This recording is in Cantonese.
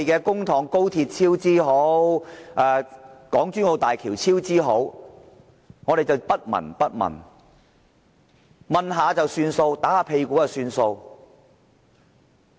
看着高鐵超支、港珠澳大橋超支，我們也不聞不問或隨便問問，拍拍屁股了事？